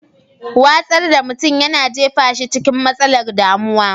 Watsar da mutum yana jefa shi cikin matsalar damuwar.